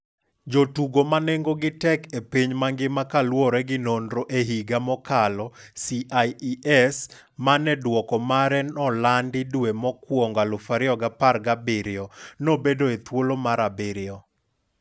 Jotugo manengo gi tek e piny mangima kaluore gi nonro e higa mokalo CIES mane dwoko mare nolandi dwe mokwongo 2017, nobede e thuolo mar 7.